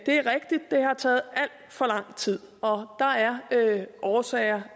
det har taget alt for lang tid og der er årsager